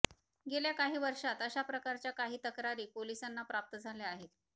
गेल्या काही वर्षांत अशा प्रकारच्या काही तक्रारी पोलिसांना प्राप्त झाल्या आहेत